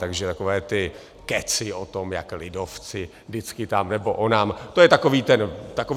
Takže takové ty kecy o tom, jak lidovci vždycky tam, nebo onam, to je takový ten folklór.